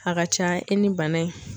A ka ca i ni bana in.